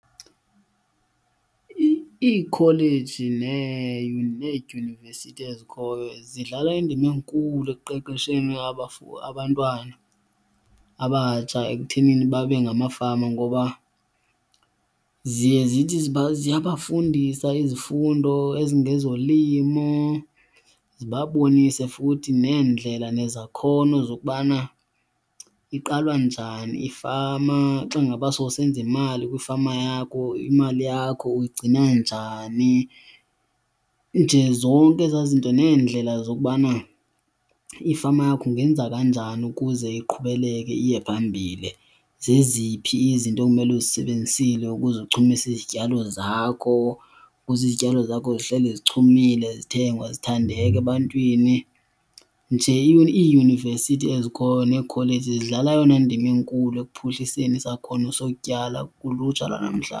Iikholeji needyunivesithi ezikhoyo zidlala indima enkulu ekuqeqesheni abantwana abatsha ekuthenini babe ngamafama ngoba ziye zithi ziyabafundisa izifundo ezingezolimo zibabonise futhi neendlela nezakhono zokubana iqalwa njani ifama. Xa ngaba sowusenza imali kwiifama yakho, imali yakho uyigcina njani, nje zonke ezaa zinto neendlela zokubana ifama yakho ungenza kanjani ukuze iqhubeleke iye phambile. Zeziphi izinto ekumele uzisebenzisile ukuze uchumise izityalo zakho ukuze izityalo zakho zihleli zichumile, zithengwa zithandeka ebantwini. Nje iiyunivesithi ezikhoyo nokholeji zidlala eyona ndima inkulu ekuphuhliseni isakhono sotyala kulutsha lwanamhla.